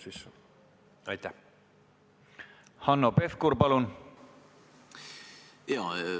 Hanno Pevkur, palun!